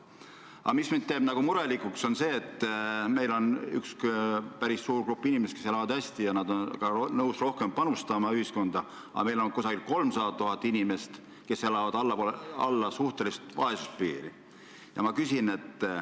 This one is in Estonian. Aga mind teeb murelikuks see, et jah, meil on päris suur grupp inimesi, kes elavad hästi ja on ka nõus rohkem ühiskonda panustama, aga meil on ka 300 000 inimest, kes elavad allpool suhtelist vaesuspiiri.